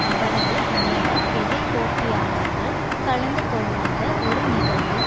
அவரது அநேக எதிர்போட்டியாளர்கள் கலந்து கொள்ளாத ஒரு நிகழ்வில்